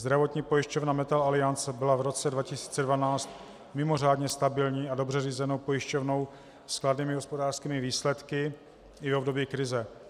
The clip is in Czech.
Zdravotní pojišťovna Metal-Aliance byla v roce 2012 mimořádně stabilní a dobře řízenou pojišťovnou s kladnými hospodářskými výsledky i v období krize.